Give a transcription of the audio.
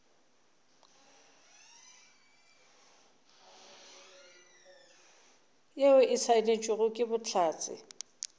yeo e saenetšwego ke bohlatse